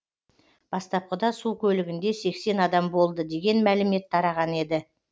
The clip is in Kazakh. бастапқыда су көлігінде сексен адам болды деген мәлімет тараған еді